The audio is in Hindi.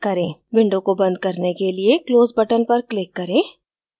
window को बंद करने के लिए close button पर click करें